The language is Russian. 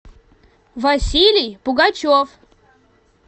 василий пугачев